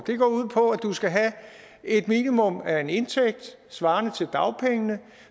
det går ud på at du skal have et minimum af en indtægt svarende til dagpengene